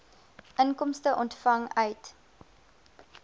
inkomste ontvang uit